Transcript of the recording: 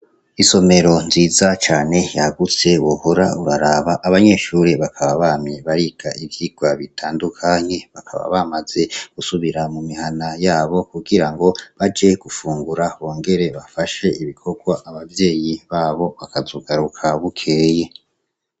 Isomero nziza cane yagutse, wohora uraraba, abanyeshure bakaba bamye bariga ivyigwa bitandukanye; bakaba bamaze gusubira mu mihana yabo, kugirango baje gufungura, bongere bafashe ibikorwa abavyeyi babo, bakazogaruka bukeye.